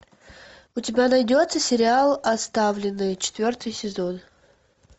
у тебя найдется сериал оставленные четвертый сезон